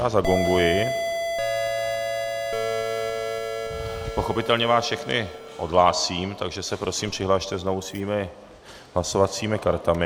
Já zagonguji, pochopitelně vás všechny odhlásím, takže se prosím přihlaste znovu svými hlasovacími kartami.